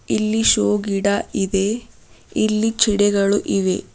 ಇಲ್ಲಿ ಶೋ ಗಿಡ ಇದೆ ಇಲ್ಲಿ ಚಿಡೆಗಳು ಇವೆ.